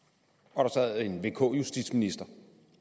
og der sad en vk justitsminister